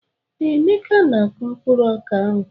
Ee, Emeka na-akụ mkpụrụ ọka ahụ.